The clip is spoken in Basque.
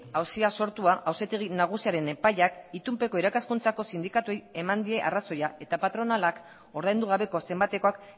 auzia sortua auzitegi nagusiaren epaiak itunpeko irakaskuntzako sindikatuei eman die arrazoia eta patronalak ordaindu gabeko zenbatekoak